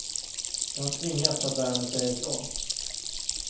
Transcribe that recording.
Jag har tvingats, att lära mig säga ifrån.